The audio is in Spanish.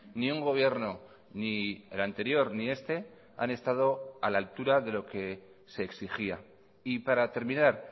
ni un gobierno ni el anterior ni este han estado a la altura de lo que se exigía y para terminar